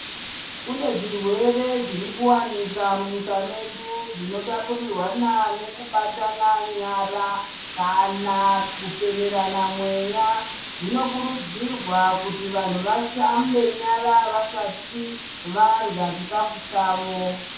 Kune zvirwere zviri kuwanika munyika medu zvinotapurirwana nekubatana nyara kana kufemerana mweya. Zvinokurudzirwa kuti vanhu vashambe nyara vasati varya chikhafu chavo .